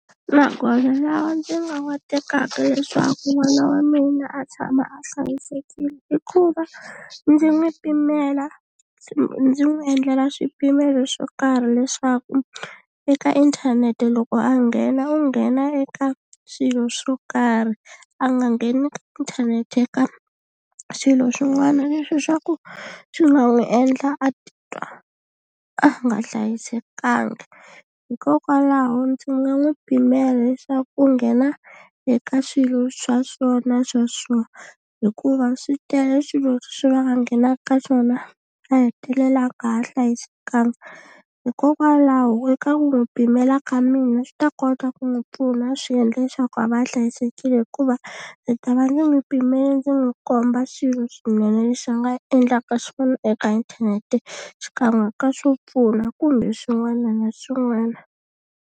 Magoza lawa ndzi nga wa tekaka leswaku n'wana wa mina a tshama a hlayisekile i ku va ndzi n'wi pimela ndzi n'wi endlela swipimelo swo karhi leswaku eka inthanete loko a nghena u nghena eka swilo swo karhi a nga ngheni ka inthanete ka swilo swin'wana leswi swa ku swi nga n'wi endla a titwa a nga hlayisekanga hikokwalaho ndzi nga n'wi pimela leswaku u nghena eka swilo swa so na swa so hikuva swi tele swilo leswi va nga nghenaka ka swona a hetelela a nga ha hlayisekanga hikokwalaho eka ku n'wi pimela ka mina swi ta kota ku n'wi pfuna swi endla leswaku a va a hlayisekile hikuva ndzi ta va ndzi n'wi pimele ndzi n'wi komba swilo swinene leswi nga endlaka xona eka inthanete xikan'we ka swo pfuna kumbe swin'wana na swin'wana.